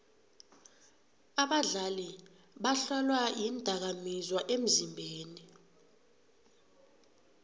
abadlali bahlolwa iindakamizwa emzimbeni